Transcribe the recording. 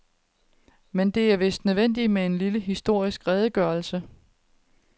Men det er vist nødvendigt med en lille historisk redegørelse.